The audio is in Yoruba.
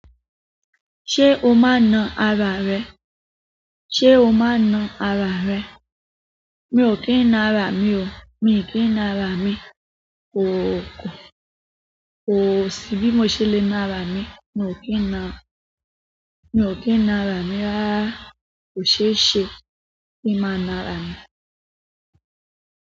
Ṣé o máa na ara rẹ? Ṣé o máa na ara rẹ? Mi ò kí ń na ara mi o. Mi ò kí ń na ara mi. Kò, kò, kò sí bí mo ṣe lè na ara mi. Mi ò kí ń na, mi ò kí ń na ara mi rárá. Kò ṣeéṣe kí n máa na ara mi.